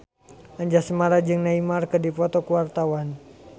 Anjasmara jeung Neymar keur dipoto ku wartawan